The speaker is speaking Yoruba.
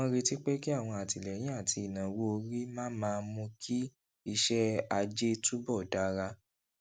wón retí pé kí àwọn àtìléyìn àti ìnáwó orí máa máa mú kí iṣé ajé túbò dára